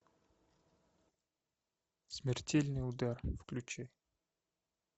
смертельный удар включи